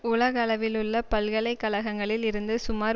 உலகளவிலுள்ள பல்கலை கழகங்களில் இருந்து சுமார்